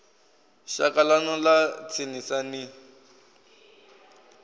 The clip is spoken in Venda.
shaka ḽanu ḽa tsinisa ni